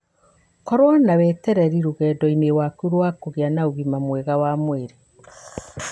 Korũo na wetereri rũgendo-inĩ rwaku rwa kũgĩa na ũgima mwega wa mwĩrĩ.